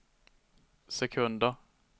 sekunder